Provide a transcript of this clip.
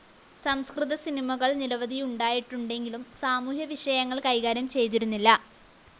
സംസ്‌കൃത സിനിമകള്‍ നിരവധിയുണ്ടായിട്ടുണ്ടെങ്കിലും സാമൂഹ്യ വിഷയങ്ങള്‍ കൈകാര്യം ചെയ്തിരുന്നില്ല